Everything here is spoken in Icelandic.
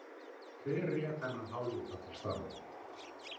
Hver réð þennan hálfvita til starfa?